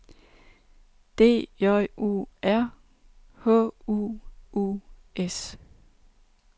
D J U R H U U S